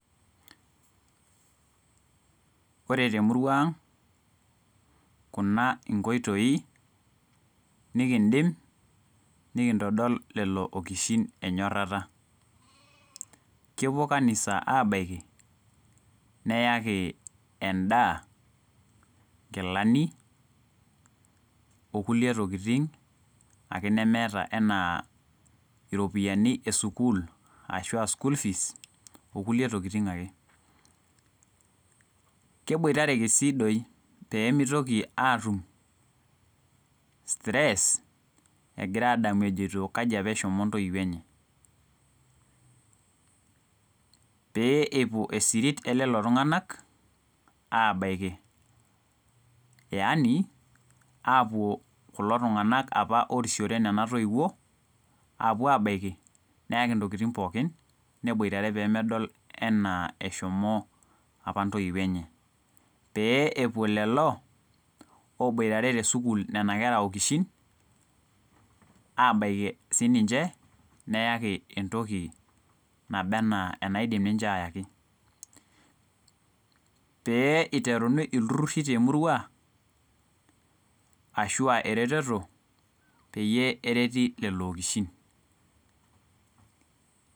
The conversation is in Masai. Ore temurua aang kuna nkoitoi nikidim aitodol lolookishin enyorata kelo kanisa abaki neyaki endaa nkilani onkulie tokitin nemeta aantokitin esukul okulie tokitin ake keboitareki si pemeitoki adamu ajo kai apa eshomo ntoiwuo enye peepuo esirit abaki yani apuo kulo tunganak pa orisiore kunatoiwuo abaki neyaki ntokitin pooki pedol anaa eshomo apa ntoiwuo enye peepuo lolo oboitare nona kera okishin neyaki entoki naba ana enaidim ninche ayaki peyakini iltururu temurua ashu aa eretoto peyie ereti lolo okishin